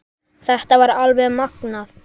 Þetta var alveg magnað!